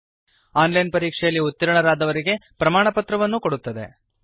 ಹಾಗೂ online ಪರೀಕ್ಷೆಯಲ್ಲಿ ಉತ್ತೀರ್ಣರಾದವರಿಗೆ ಪ್ರಮಾಣಪತ್ರವನ್ನು ಕೊಡುತ್ತದೆ